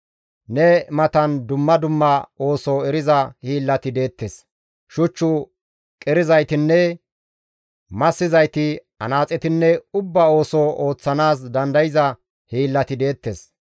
Ne matan dumma dumma ooso eriza hiillati deettes; shuch qerizaytinne massizayti, anaaxetinne ubba ooso ooththanaas dandayza hiillati deettes.